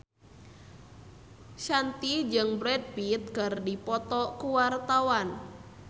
Shanti jeung Brad Pitt keur dipoto ku wartawan